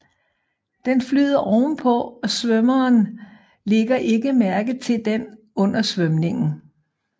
Den flyder ovenpå og svømmeren ligger ikke mærke til den under svømningen